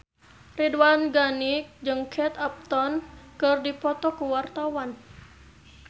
Ridwan Ghani jeung Kate Upton keur dipoto ku wartawan